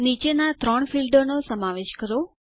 નીચેના ત્રણ ફીલ્ડોનો સમાવેશ કરો